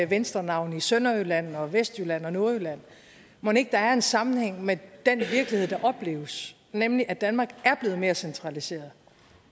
venstrenavne i sønderjylland og vestjylland og nordjylland mon ikke der er en sammenhæng med den virkelighed der opleves nemlig at danmark er blevet mere centraliseret